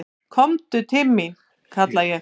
"""Komdu til mín, kalla ég."""